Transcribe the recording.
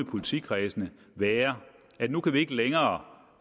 politikredsene være at nu kan vi ikke længere